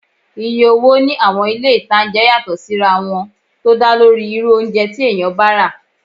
Iye owó ní àwọn ilé-ìtánjẹ yàtọ̀ sí ra wọn tó dálórí irú oúnjẹ tí èèyàn bá rà